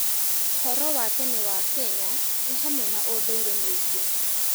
ũhoro wa tene wa Kenya nĩ hamwe na ũndũire mwĩingĩ.